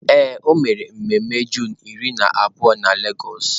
Ee, o mere ememe Juunu iri na abụọ na lagos.